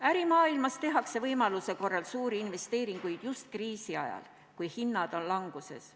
Ärimaailmas tehakse võimaluse korral suuri investeeringuid just kriisi ajal, kui hinnad langevad.